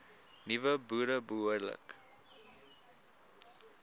nuwe boere behoorlik